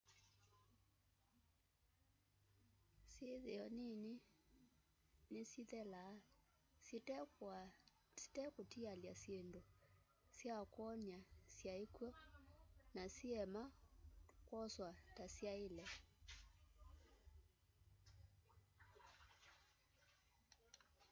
syithio nini ni syithelaa syitekutialya syindũ sya kwonia syai kwo na siema kwoswa ta syaile